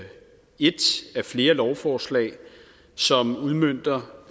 et af flere lovforslag som udmønter